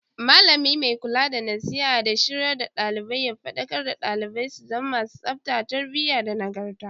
Mallami mai kula da nasiha da shiryar da dalibai ya fadakar da dalibai su zama masu tsafta, tarbiyyah da nagarta